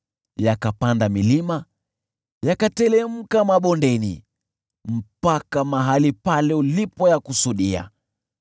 yakapanda milima, yakateremka mabondeni, hadi mahali pale ulipoyakusudia.